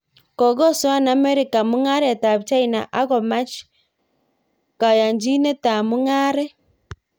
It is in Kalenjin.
Kokosoan Amerika mung'aret ab China ak komach kayanchinetab mung'aret